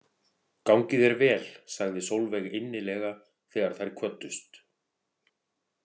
Gangi þér vel, sagði Sólveig innilega þegar þær kvöddust.